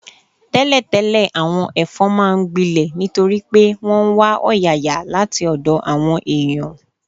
Tẹ́lẹ̀tẹ́lẹ̀, àwọn ẹ̀fọn máa ń gbilẹ̀ nítorí pé wọ́n ń wá ọ̀yàyà láti ọ̀dọ̀ àwọn èèyàn